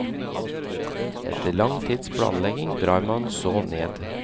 Etter lang tids planlegging drar man så ned.